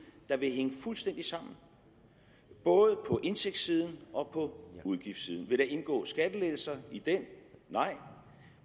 der vil hænge fuldstændig sammen både på indtægtssiden og på udgiftssiden vil der indgå skattelettelser i den nej